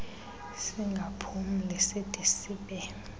singaphumli side sibe